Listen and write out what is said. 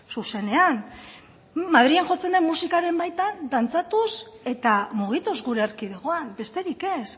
zuzenean madrilen jotzen den musikaren baitan dantzatuz eta mugituz gure erkidegoan besterik ez